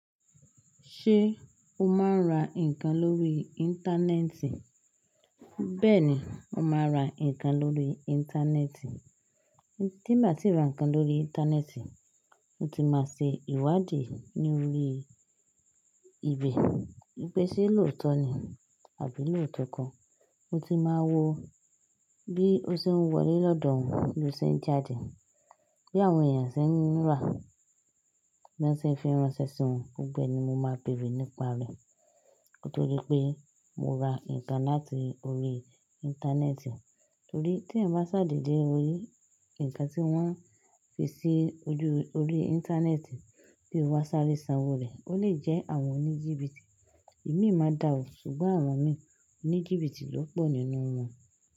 Ṣé o máa ń ra nǹkan lórí. Íńtánẹ́ẹ̀tì? Bẹ́ẹ̀ni, mo máa ra nǹkan lórí. Íńtánẹ́ẹ̀tì. Tí n bá ti ra nǹkan lórí. Íńtánẹ́ẹ̀tì, mo ti máa ṣe ìwádìí ní orí ibẹ̀. Pé sè lóòótọ́ ni àbí lóòtọ́ kan. Mo ti máa wo bí ó ṣe ń wọlé lọ́dọ̀ wọn, bí ó ṣe ń jáde, bí àwọn èèyàn ṣe ń rà á, bí wọ́n ṣe ń fi ránṣẹ́ sí wọn. Gbogbo ẹ ni mo máa béèrè nípa rẹ̀. Nítorí pé mo ra nǹkan láti orí íńtánẹ́ẹ̀tì. Torí tí ẹ̀eyan báa ṣàdédé lórí ǹkan tí wọ́n fi sí ojú orí íńtánẹ́ẹ̀tì kí o wá sáré sanwó rẹ̀, ó lè jẹ́ àwọn oníjìbìtì. Èmi má da òò, ṣùgbọ́n àwọn mi oníjìbìtì ló pọ̀ nínú wọn.